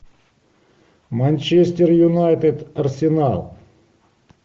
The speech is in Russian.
манчестер юнайтед арсенал